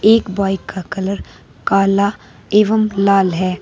एक बाइक का कलर काला एवं लाल है।